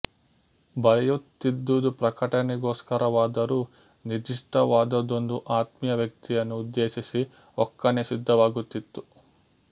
ಬರೆಯುತ್ತಿದ್ದುದು ಪ್ರಕಟಣೆಗೋಸ್ಕರವಾದರೂ ನಿರ್ದಿಷ್ಟವಾದೊಂದು ಆತ್ಮೀಯ ವ್ಯಕ್ತಿಯನ್ನು ಉದ್ದೇಶಿಸಿ ಒಕ್ಕಣೆ ಸಿದ್ಧವಾಗುತಿತ್ತು